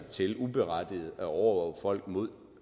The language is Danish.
til uberettiget at overvåge folk med